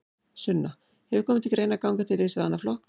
Sunna: Hefur komið til greina að ganga til liðs við annan flokk?